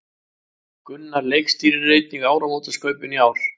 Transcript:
Gunnar leikstýrir einnig áramótaskaupinu í ár